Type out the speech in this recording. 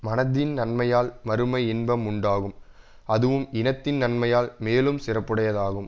மனதின் நன்மையால் மறுமை இன்பம் உண்டாகும் அதுவும் இனத்தின் நன்மையால் மேலும் சிறப்புடையதாகும்